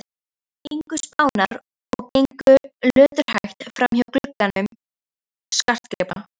ingu Spánar og gengu löturhægt framhjá gluggum skartgripa